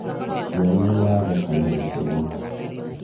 ciana iratheka na gĩkeno